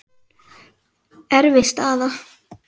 Erfið staða.